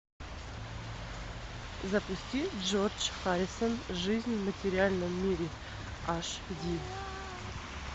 запусти джордж харрисон жизнь в материальном мире аш ди